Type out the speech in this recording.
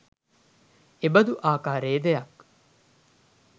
එබඳු ආකාරයේ දෙයක්